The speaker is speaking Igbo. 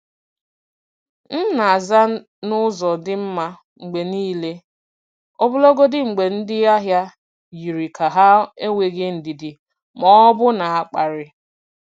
M na-aza n’ụzọ dị mma mgbe niile, ọbụlagodi mgbe ndị ahịa yiri ka ha enweghị ndidi ma ọ bụ na-akparị.